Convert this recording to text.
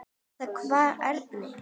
Þá kvað Árni